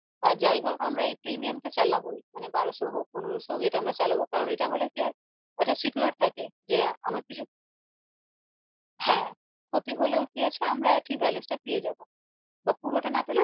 আহ যাই হোক আমরা এই premium টা চালাবোই মানে বারোশো হোক পনেরশো হোক এটা আমরা চালাবো কারন এটা হলে কি হয় একটা secure থাকে যে আমার কিছু হ্যাঁ ক্ষতি হলেও ঠিক আছে আমরা আমাদের balance টা পেয়ে যাবো বা পুরোটা না পেলেও